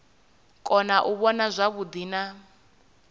kona u vhona zwavhuḓi na